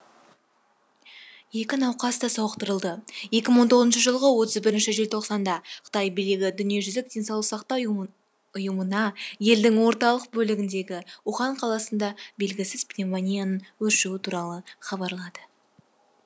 екі науқас та сауықтырылды екі мың он тоғызыншы жылғы отыз бірінші желтоқсанда қытай билігі дүниежүзілік денсаулық сақтау ұйымына елдің орталық бөлігіндегі ухан қаласында белгісіз пневмонияның өршуі туралы хабарлады